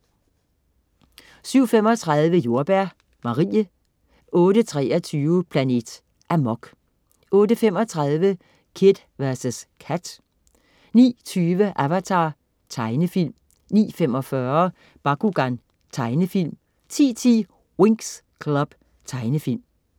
07.35 Jordbær Marie 08.23 Planet Amok 08.35 Kid vs Kat 09.20 Avatar. Tegnefilm 09.45 Bakugan. Tegnefilm 10.10 Winx Club. Tegnefilm